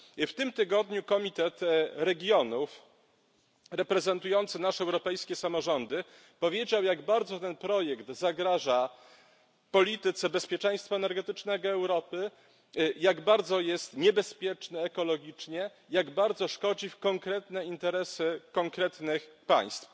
W tym tygodniu Komitet Regionów reprezentujący nasze europejskie samorządy powiedział, jak bardzo ten projekt zagraża polityce bezpieczeństwa energetycznego Europy, jak bardzo jest niebezpieczny ekologicznie, jak bardzo szkodzi konkretnym interesom konkretnych państw.